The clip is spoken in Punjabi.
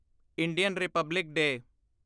Indian republic day